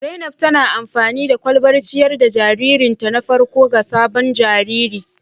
Zainab tana amfani da kwalbar ciyar da jaririnta na farko ga sabon jariri